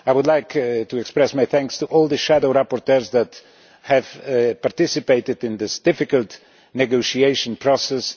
I would like to express my thanks to all the shadow rapporteurs who have participated in this difficult negotiation process.